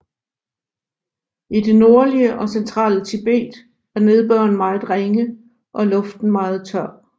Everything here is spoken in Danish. I det nordlige og centrale Tibet er nedbøren meget ringe og luften meget tør